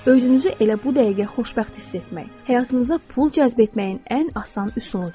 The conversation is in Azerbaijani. Özünüzü elə bu dəqiqə xoşbəxt hiss etmək, həyatınıza pul cəzb etməyin ən asan üsuludur.